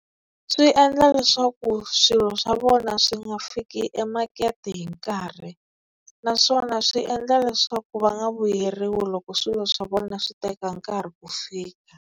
Swi endla leswaku swilo swa vona swi nga fiki emakete hi nkarhi, naswona swi endla leswaku va nga vuyeriwi loko swilo swa vona swi teka nkarhi ku fika.